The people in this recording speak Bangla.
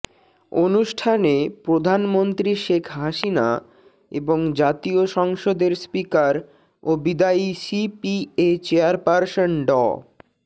অনুষ্ঠানে প্রধানমন্ত্রী শেখ হাসিনা এবং জাতীয় সংসদের স্পিকার ও বিদায়ী সিপিএ চেয়ারপার্সন ড